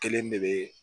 Kelen de bɛ